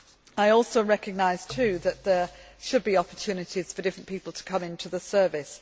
that. I also recognise that there should be opportunities for different people to come into the service.